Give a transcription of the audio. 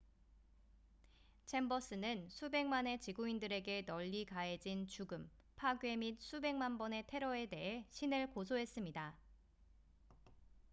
"챔버스는 "수백만의 지구인들에게 널리 가해진 죽음 파괴 및 수백만 번의 테러""에 대해 신을 고소했습니다.